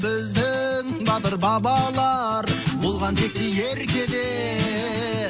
біздің батыр бабалар болған текті ерке де